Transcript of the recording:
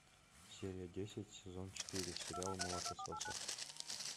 серия десять сезон четыре сериал молокососы